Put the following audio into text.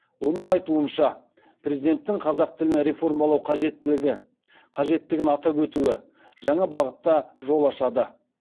оның айтуынша президенттің қазақ тілін реформалау қажеттігін атап өтуі жаңа бағытқа жол ашады